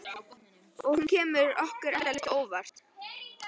Og hún kemur okkur endalaust á óvart.